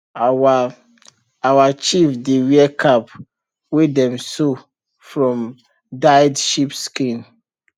our our chief dey wear cap wey dem sew from dyed sheep skin